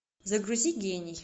загрузи гений